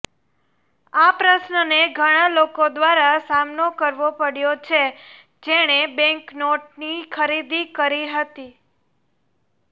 આ પ્રશ્નને ઘણા લોકો દ્વારા સામનો કરવો પડ્યો છે જેણે બૅન્કનોટની ખરીદી કરી હતી